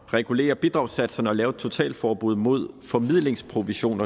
regulere bidragssatserne og lave et totalforbud mod formidlingsprovision